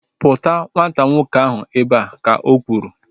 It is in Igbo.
Kpụta nwata nwoke ahu ebea! Ka o kwuru